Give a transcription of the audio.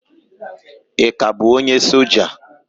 Ị ka bụ onye soja?